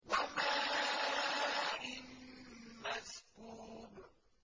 وَمَاءٍ مَّسْكُوبٍ